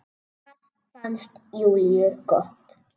Það fannst Júlíu gott.